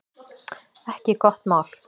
Ekki gott mál